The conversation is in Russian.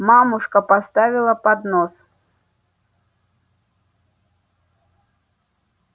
мамушка поставила поднос